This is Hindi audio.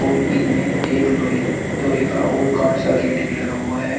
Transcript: और इनमें एक लोहे लोहे का और कांच का गेट भी लगा हुआ है।